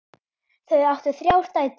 Þau áttu þrjár dætur.